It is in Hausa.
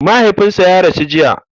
Mahaifinsa ya rasu jiya.